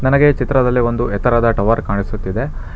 ನನಗೆ ಈ ಚಿತ್ರದಲ್ಲಿ ಒಂದು ಎತ್ತರದ ಟವರ್ ಕಾಣಿಸುತ್ತಿದೆ.